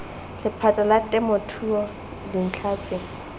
lephata la temothuo dintlha tse